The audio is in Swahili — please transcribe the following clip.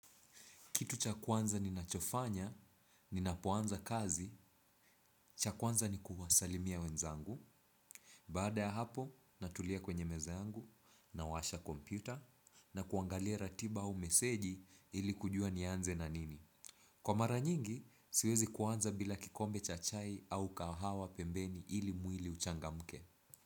Kitu cha kwanza ninachofanya, ninapoanza kazi, cha kwanza ni kuwasalimia wenzangu. Baada ya hapo, natulia kwenye meza yangu, nawasha kompyuta, na kuangalia ratiba au meseji ili kujua nianze na nini. Kwa mara nyingi, siwezi kuanza bila kikombe cha chai au kahawa pembeni ili mwili uchangamke.